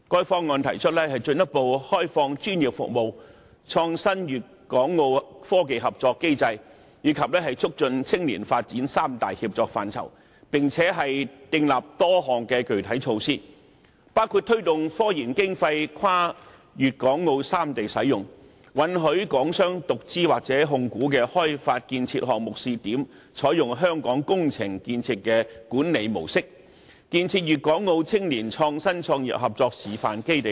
《方案》提出"進一步開放專業服務"，"創新粵港澳科技合作機制"，以及"促進青年發展"三大協作範疇，並且訂立多項具體措施，包括推動科研經費跨粵港澳三地使用；允許港商獨資或控股的開發建設項目試點，採用香港工程建設的管理模式；建設粵港澳青年創新創業合作示範基地等。